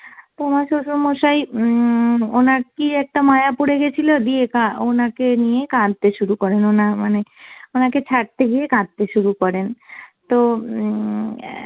তো আমার শ্বশুরমশাই উম ওনার কি একটা মায়া পড়ে গেছিলো দিয়ে কা~ ওনাকে নিয়ে কাঁদতে শুরু করেন ওনার মানে ওনাকে ছাড়তে গিয়ে কাঁদতে শুরু করেন। তো উম অ্যাঁ